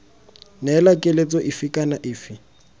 neela keletso efe kana efe